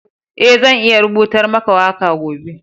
Eh, zan iya rubutar maka waka gobe.